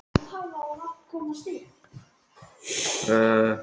Hún er ekki ein af þeim háværu.